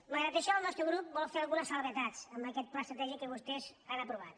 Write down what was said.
malgrat això el nostre grup vol fer algunes precisions a aquest pla estratègic que vostès han aprovat